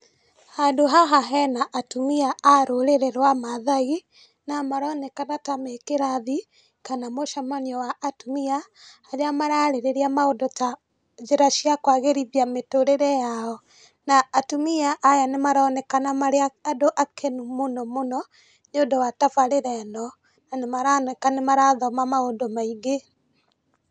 Handũ haha hena atumia a rũrĩrĩ rwa Mathai, na maronekana ta me kĩrathi, kana mũcamanio wa atumia, harĩa mararĩrĩria maũndũ ta njĩra cia kwagĩrithia mĩtũrĩre yao. Na atumia aya nĩ maronekana marĩ andũ akenu mũno mũno, nĩ ũndũ tabarĩra ĩno. Na nĩ maroneka nĩ marathoma maũndũ maingĩ.